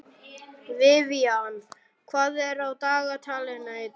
Vivian, hvað er á dagatalinu í dag?